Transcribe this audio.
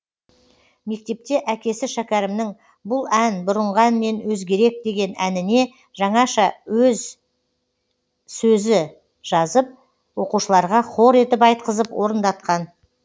мектепте әкесі шәкәрімнің бұл ән бұрынғы әннен өзгерек деген әніне жаңаша өз сөзі жазып оқушыларға хор етіп айтқызып орындатқан